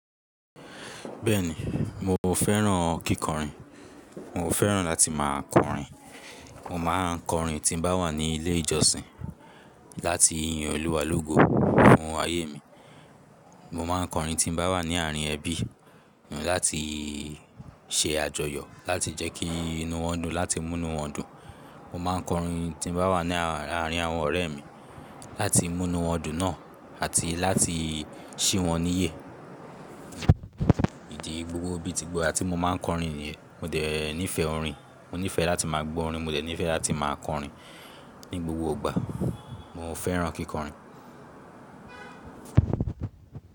Bẹ́ẹ̀ni, mo fẹ́ràn kíkọrin. Mo fẹ́ràn láti má a kọrin. Mo má a ń kọrin tí n bá wà ní ilé ìjọsìn láti yin Olúwa lógo fún ayé mi. Mo má a ń kọrin tí n bá wà ní àárín ẹbí, láti ṣe àjọyọ̀, láti jẹ́ kí inú wọn dùn, láti mú inú wọn dùn. Mo má a ń kọrin tí n bá wà ní àárín àwọn ọ̀rẹ́ mi láti mú inú wọn dùn náà àti láti sí wọn níyè. Ìdí gbogbo bí ti gbogbo àti mo má a ń kọrin nìyẹn. Mo dẹ̀ nífẹ̀ẹ́ orin, mo nífẹ̀ẹ́ láti má a gbọ́ orin, mo dẹ̀ nífẹ̀ẹ́ láti má a kọrin ní gbogbo ìgbà. Mo fẹ́ràn kíkọrin.